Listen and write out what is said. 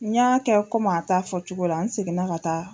N y'a kɛ kɔmi a ta fɔ cogo la, n seginna ka taa.